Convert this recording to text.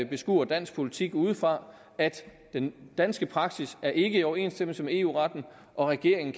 beskuer dansk politik udefra om at den danske praksis er i overensstemmelse med eu retten og regeringen